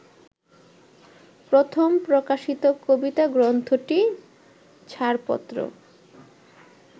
প্রথম প্রকাশিত কবিতাগ্রন্থটি ছাড়পত্র